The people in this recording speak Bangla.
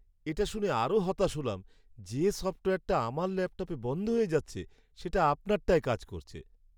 এটা শুনে আরও হতাশ হলাম যে সফ্টওয়্যারটা আমার ল্যাপটপে বন্ধ হয়ে যাচ্ছে, সেটা আপনারটায় কাজ করছে।